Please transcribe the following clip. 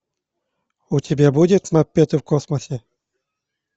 у тебя будет маппеты в космосе